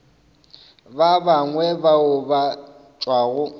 ba bangwe bao ba tšwago